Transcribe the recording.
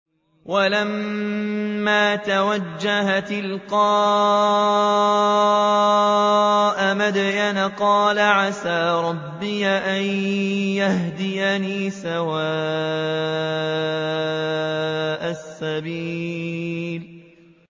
وَلَمَّا تَوَجَّهَ تِلْقَاءَ مَدْيَنَ قَالَ عَسَىٰ رَبِّي أَن يَهْدِيَنِي سَوَاءَ السَّبِيلِ